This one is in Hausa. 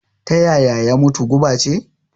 Ta yaya ya mutu? guba ce?